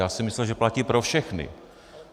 Já jsem myslel, že platí pro všechny.